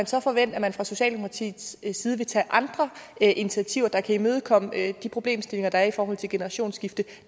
så forvente at man fra socialdemokratiets side vil tage andre initiativer der kan imødekomme de problemstillinger der er i forhold til generationsskifte